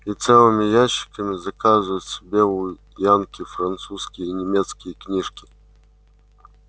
и целыми ящиками заказывают себе у янки французские и немецкие книжки